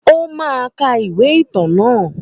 Ó máa ka ìwé ìtàn naa